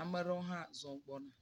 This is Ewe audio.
Ame aɖewo hã zɔ̃ gbɔna.